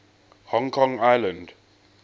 hong kong island